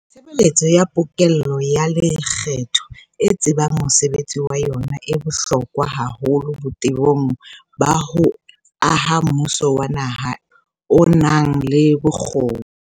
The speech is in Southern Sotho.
Tshebeletso ya pokello ya lekgetho e tsebang mosebetsi wa yona e bohlokwa haholo botebong ba ho aha mmuso wa naha o nang le bokgoni.